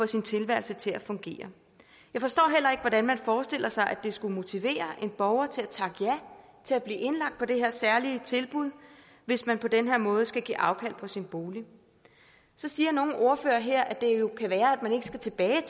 sin tilværelse til at fungere jeg forstår heller ikke hvordan man forestiller sig at det skulle motivere en borger til at takke ja til at blive indlagt på det her særlige tilbud hvis man på den her måde skal give afkald på sin bolig så siger nogle ordførere her at det jo kan være at man ikke skal tilbage